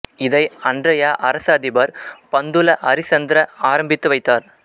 இதை அன்றையை அரச அதிபர் பந்துல ஹரிச்சந்திர ஆரம்பித்து வைத்தார்